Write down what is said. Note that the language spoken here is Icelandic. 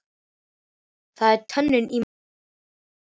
Það er tönnin í maganum sem talar.